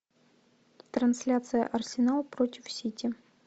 трансляция арсенал против сити